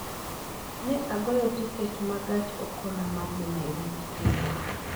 Ne agoyo tiket ma gach okoloma dhi Nairobi kiny